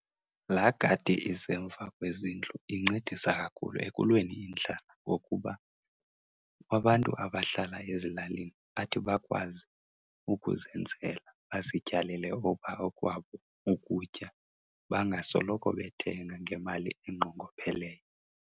Laa gadi isemva kwezindlu incedisa kakhulu ekulweni indlala ngokuba abantu abahlala ezilalini bathi bakwazi ukuzenzela bazityalele okwabo ukutya, bangasoloko bethenga ngemali enqongopheleyo.